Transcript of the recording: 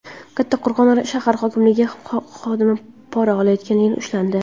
Kattaqo‘rg‘on shahar hokimligi xodimi pora olayotganda ushlandi.